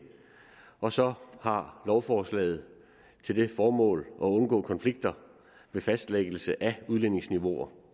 og så har lovforslaget til formål at undgå konflikter med fastlæggelse af udledningsniveauer